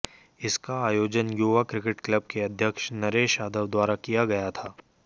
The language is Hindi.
इसका आयोजन युवा क्रिकेट क्लब के अध्यक्ष नरेश यादव द्वारा किया गया था